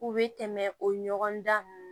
U bɛ tɛmɛ o ɲɔgɔnda ninnu